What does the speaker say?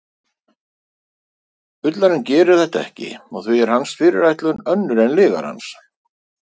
bullarinn gerir þetta ekki og því er hans fyrirætlun önnur en lygarans